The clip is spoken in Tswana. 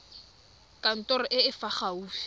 kantorong e e fa gaufi